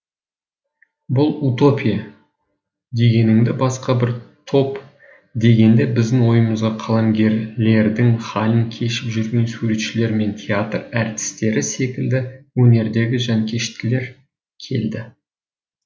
бұл утопия дегеніндегі басқа бір топ дегенде біздің ойымызға қаламгерлердің хәлін кешіп жүрген суретшілер мен театр әртістері секілді өнердегі жанкештілер келді